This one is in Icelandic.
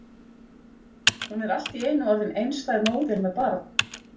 Hún er allt í einu orðin einstæð móðir með barn!